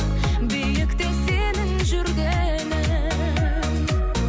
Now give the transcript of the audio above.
биікте сенің жүргенің